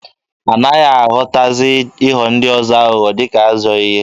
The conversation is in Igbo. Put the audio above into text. Anaghị ahụtazi ịghọ ndị ọzọ aghụghọ dịka ajọọ ihe.